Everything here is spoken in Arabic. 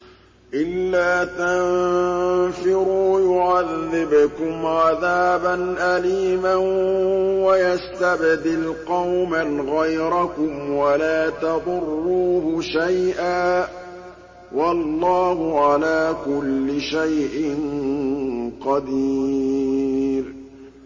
إِلَّا تَنفِرُوا يُعَذِّبْكُمْ عَذَابًا أَلِيمًا وَيَسْتَبْدِلْ قَوْمًا غَيْرَكُمْ وَلَا تَضُرُّوهُ شَيْئًا ۗ وَاللَّهُ عَلَىٰ كُلِّ شَيْءٍ قَدِيرٌ